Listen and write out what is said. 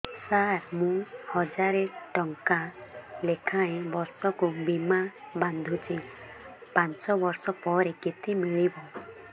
ସାର ମୁଁ ହଜାରେ ଟଂକା ଲେଖାଏଁ ବର୍ଷକୁ ବୀମା ବାଂଧୁଛି ପାଞ୍ଚ ବର୍ଷ ପରେ କେତେ ମିଳିବ